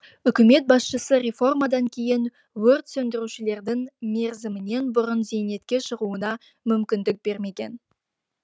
бірақ үкімет басшысы реформадан кейін өрт сөндірушілердің мерзімінен бұрын зейнетке шығуына мүмкіндік бермеген